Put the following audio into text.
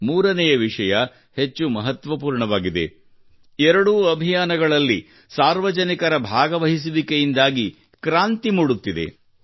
ಮೂರನೆಯ ವಿಷಯವು ಹೆಚ್ಚು ಮಹತ್ವಪೂರ್ಣವಾಗಿದೆ ಎರಡೂ ಅಭಿಯಾನಗಳಲ್ಲಿ ಸಾರ್ವಜನಿಕರ ಭಾಗವಹಿಸುವಿಕೆಯಿಂದಾಗಿ ಕ್ರಾಂತಿ ಮೂಡುತ್ತಿದೆ